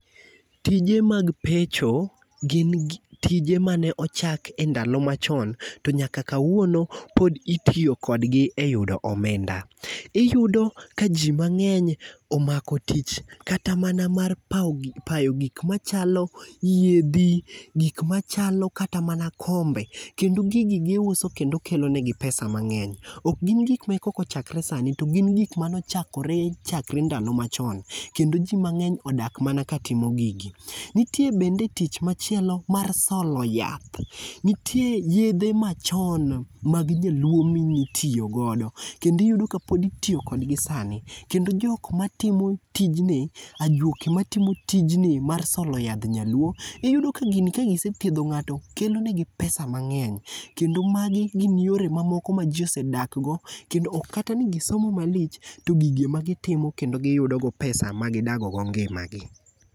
Tije mag pecho gin gi tije mane ochaki e ndalo machon to nyaka kawuono pod itiyo kodgi eyudo omenda. Iyudo ka ji mang'eny omako tich kata mana mar payo gik machalo yiedhi gik machalo kata mana kombe , kendo gigi giuso kendo kelonegi pesa ok gik ma koro eka ochakore sani to gin gik mane chakre ndalo machon. Kendo ji mang'eny odak mana katimo gigi. Nitie kendo tich machielo mar solo yath. Nitie yedhe machon mag nyaluo mane itiyo godo kendo iyudo kapoditiyo kodgi sani kendo jok matimo tijni, ajuoke matiyo tijni mar solo yadh nyaluo, iyudo kagini kagise thiedho ng'ato kelo negi pesa mang'eny kendo magi gin yore mamoko maji osedak go kendo ok katani gisomo malich to gigi ema gitimo endo giyudo go pesa magidago go ngima gi.